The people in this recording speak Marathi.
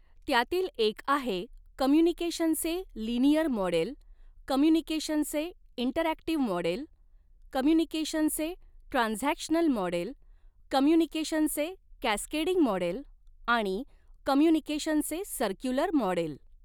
त्यातील एक आहे कम्युनिकेशनचे लिनिअर मॉडेल कम्युनिकेशनचे इंटरॲक्टिव्ह मॉडेल कम्युनिकेशनचे ट्रान्झॅक्शनल मॉडेल कम्युनिकेशनचे कॅसकेडिंग मॉडेल आणि कम्युनिकेशनचे सर्क्युलर मॉडेल.